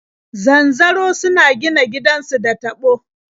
Zanzaro suna gina gidansu da taɓo.